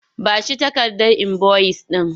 Ba shi takardar inboyis ɗin!